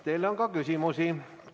Teile on ka küsimusi.